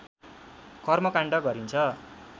कर्मकाण्ड गरिन्छ